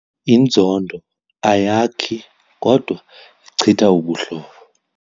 Inzondo ayakhi kodwa ichitha ubuhlobo.